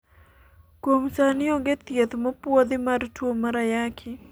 kuom sani onge thieth mopuodhi mar tuo mar ayaki